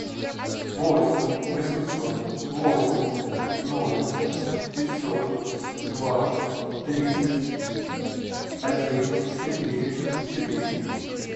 восемь восемьсот восемьдесят ноль пятьсот два тридцать один четыре четыре